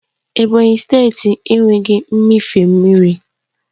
Ebonyi steeti enweghị mmịfe mmiri